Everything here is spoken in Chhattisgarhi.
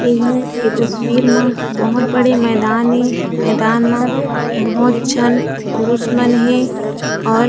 ये ह ए तस्वीर मा बहोत बड़े मैदान ए मैदान मा बहोत झन पुरुष मन हेऔर--